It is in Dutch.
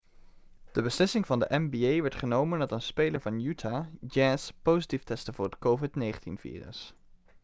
de beslissing van de nba werd genomen nadat een speler van utah jazz positief testte voor het covid-19-virus